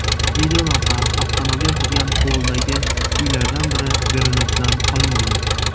Videolavha avtomobil turgan hovlidagi uylardan biri derazasidan olingan.